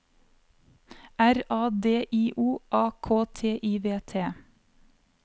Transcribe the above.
R A D I O A K T I V T